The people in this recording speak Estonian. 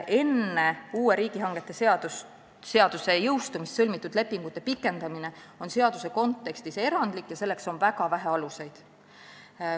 Enne uue riigihangete seaduse jõustumist sõlmitud lepingute pikendamine on seaduse kontekstis erandlik ja selleks on väga vähe aluseid.